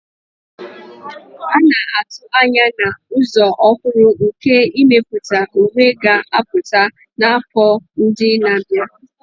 A na-atụ anya na ụzọ ọhụrụ nke imepụta uwe ga-apụta n'afọ ndị na-abịa.